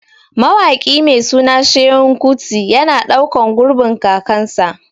Mawaƙi mai suna Seun Kuti yana ɗaukan gurbin kakansa